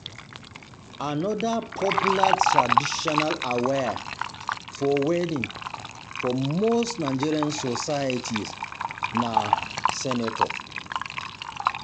Another popular traditional attire for wedding for most Nigerian societies na societies na senator.